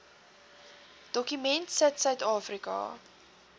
dokument sit suidafrika